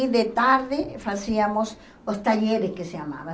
E de tarde, fazíamos os talheres, que se chamava.